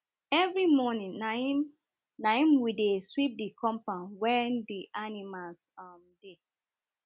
every moring na im na im we dey sweep the compoud wen the animals um dey